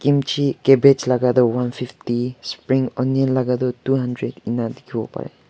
Kimchi cabbage laka tu one fifty spring onion laka tu two hundred ena dekhe bo pare.